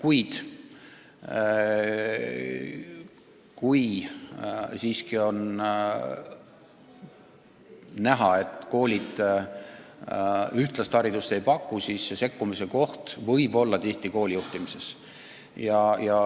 Ent kui siiski on näha, et koolid ühtlast haridust ei paku, siis võib olla vaja sekkuda ka koolide juhtimisse.